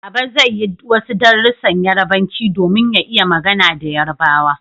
Baba zai yi wasu darussan Yarbanci domin ya iya magana da yarbawa